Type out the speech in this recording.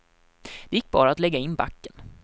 Det gick bara att lägga in backen.